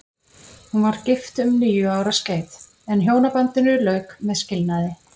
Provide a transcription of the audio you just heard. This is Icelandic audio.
Hún var gift um níu ára skeið, en hjónabandinu lauk með skilnaði.